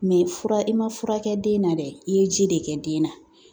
fura i ma fura kɛ den na dɛ i ye ji de kɛ den na .